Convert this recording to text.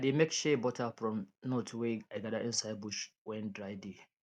i dey make shea butter from nut wey i gather inside bush when dry dey